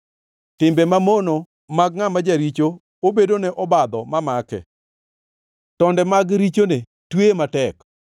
Timbe mamono mag ngʼama jaricho obedone obadho mamake, tonde mag richone tweye matek.